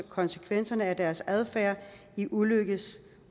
konsekvenserne af deres adfærd i ulykkes